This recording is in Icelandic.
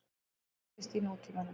eins og þekkist í nútímanum.